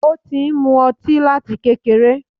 Ó ti ń mú ọtí láti kékeré.